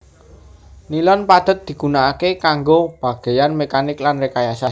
Nilon padhet digunakaké kanggo bagéyan mekanik lan rekayasa